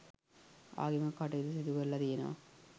ආගමික කටයුතු සිදු කරල තියෙනවා.